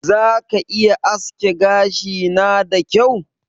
Za ka iya aske gashina da kyau?